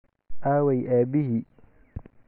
Aaway aabbihii?